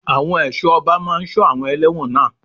Àwọn ẹ̀ṣọ́ ọba máa sọ àwọn elẹ́wọ̀n náà.